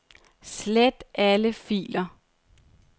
Slet alle filer.